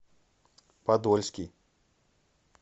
подольский